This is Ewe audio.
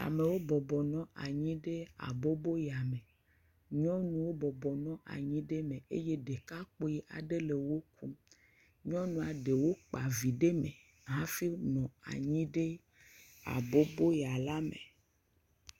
Amewo bɔbɔnɔ anyi ɖe aboboya me. Nyɔnuwo bɔbɔnɔ anyi ɖe eme eye ɖekakpui aɖe le wo kum. Nyɔnua ɖewo kpa vi ɖe me hafi nɔ anyi ɖe aboboya la me.